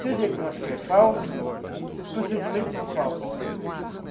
Se o diagnóstico é falso, os procedimentos são falsos.